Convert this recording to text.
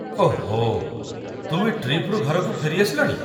ଓହୋ, ତୁମେ ଟ୍ରିପ୍‌ରୁ ଘରକୁ ଫେରିଆସିଲଣି?